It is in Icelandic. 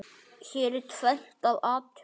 Hér er tvennt að athuga.